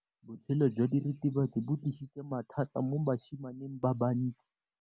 Botshelo jwa diritibatsi ke bo tlisitse mathata mo basimaneng ba bantsi.